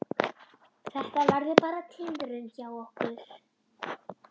Þetta verður bara tilraun hjá okkur.